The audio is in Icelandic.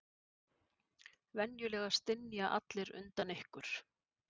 Venjulega stynja allir undan ykkur.